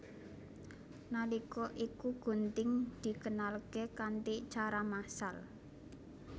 Nalika iku gunting dikenalké kanthi cara massal